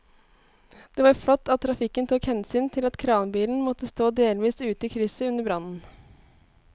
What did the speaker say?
Det var flott at trafikken tok hensyn til at kranbilen måtte stå delvis ute i krysset under brannen.